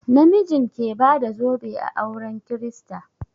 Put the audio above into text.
Na mijin ke bada zobe a auren kirista.